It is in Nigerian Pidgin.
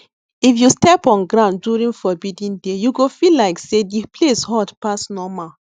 if you step on ground during forbidden day you go feel like say the place hot pass normal